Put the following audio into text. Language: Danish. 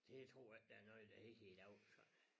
Det tror jeg ikke der er noget der hedder i dag nej